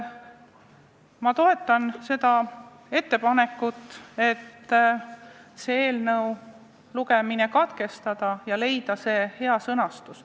Ma toetan ettepanekut eelnõu lugemine katkestada ja leida otsitav hea sõnastus.